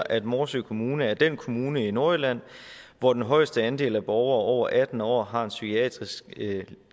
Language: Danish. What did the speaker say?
at morsø kommune er den kommune i nordjylland hvor den højeste andel af borgere over atten år har en psykiatrisk